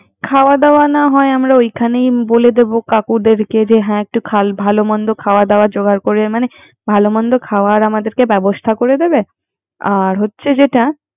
খাওয়া দাওয়া না হয় আমরা ঐখানে বলে দিব কাকুদেরকে যে হ্যা একটু খাল ভালো মন্দ খাওয়া দাওয়া জোগার করে মানে ভালো মন্দ খাওয়ার ব্যবস্থা করে দেবে, আর হচ্ছে যেটা